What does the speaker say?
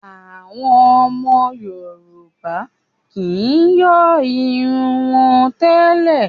Àwọn ọmọ Yorùbá kì í yọ́ irun wọn tẹ́lẹ̀